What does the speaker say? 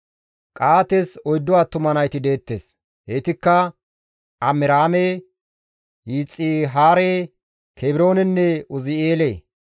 Qa7aates oyddu attuma nayti deettes; heytikka Amiraame, Yixihaare, Kebroonenne Uzi7eele.